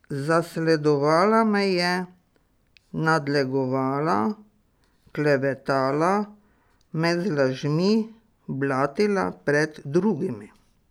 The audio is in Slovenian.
Zasledovala me je, nadlegovala, klevetala, me z lažmi blatila pred drugimi.